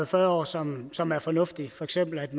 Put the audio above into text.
fyrre år som som er fornuftige for eksempel